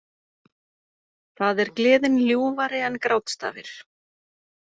Það er Gleðin ljúfari en grátstafir